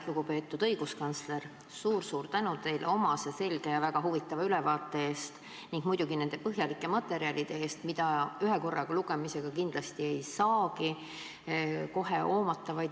Lugupeetud õiguskantsler, suur-suur tänu teile omase selge ja väga huvitava ülevaate eest ning muidugi nende põhjalike materjalide eest, mida ühe korra lugemisega kindlasti ei saagi kohe hoomata!